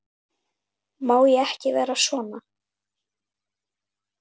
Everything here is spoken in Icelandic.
Má ég ekki vera svona?